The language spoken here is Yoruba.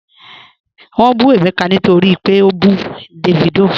Wọ́n bù Emeka nítorí pé ó bú Davido